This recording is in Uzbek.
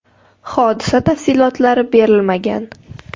Hodisa tafsilotlari berilmagan.